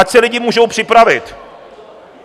Ať se lidi můžou připravit.